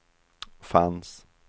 fanns